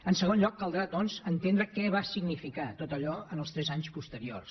en segon lloc caldrà doncs entendre què va significar tot allò en els tres anys posteriors